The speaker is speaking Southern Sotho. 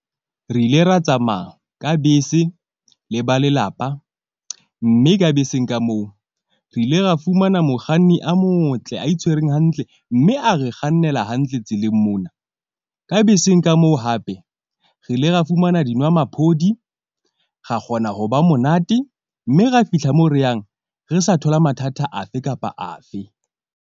Re ile ra tsamaya ka bese le ba lelapa mme ka beseng ka moo re ile ra fumana mokganni a motle a itshwereng hantle. Mme a re kgannela hantle tseleng mona, ka beseng ka moo hape re ile ra fumana dinwamaphodi, ra kgona ho ba monate mme ra fihla mo re yang re sa thola mathata afe kapa afe.